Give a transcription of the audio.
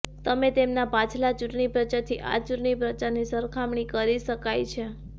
તમે તેમના પાછલા ચૂંટણી પ્રચારથી આ ચૂંટણી પ્રચારની સરખામણી કરી શકાય છે